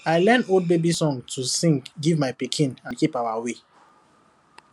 i learn old baby song to sing give my pikin and keep our way